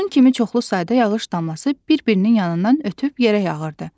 Onun kimi çoxlu sayda yağış damlası bir-birinin yanından ötüb yerə yağırdı.